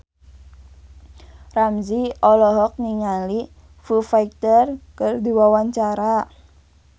Ramzy olohok ningali Foo Fighter keur diwawancara